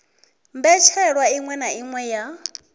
mbetshelwa iṅwe na iṅwe ya